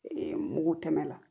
mugu tɛmɛ na